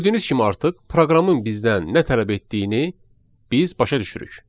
Gördüyünüz kimi artıq proqramın bizdən nə tələb etdiyini biz başa düşürük.